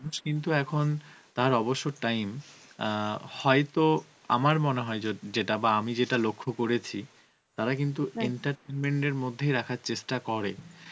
নুষ কিন্তু এখন তার অবসর time অ্যাঁ হয়ত আমর মনে হয় জ~ যেটা বা আমি যেটা লক্ষ্য করেছি, তারা কিন্তু entertainment এর মধ্যেই রাখার চেষ্ঠা করে